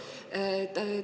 Just täpselt.